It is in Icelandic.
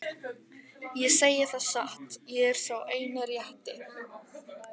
Ég segi það satt, ég er sá eini rétti.